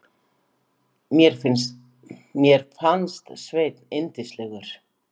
Mér fannst Sveinn yndislegur.